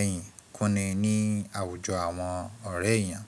ẹ̀yìn kúnni ní àwùjọ àwọn ọ̀rẹ́ èèyàn.